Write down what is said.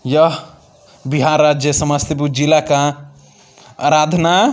यह बिहार राज्य समस्तीपुर जिला का आराधना --